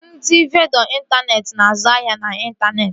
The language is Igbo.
Ndị vendọ intaneeti na-azụ ahịa n'intaneeti